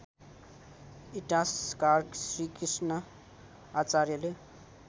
इतिहासकार श्रीकृष्ण आचार्यले